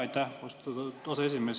Aitäh, austatud aseesimees!